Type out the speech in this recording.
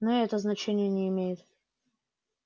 но и это значения не имеет